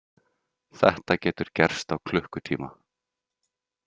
Þetta getur gerst á klukkutíma.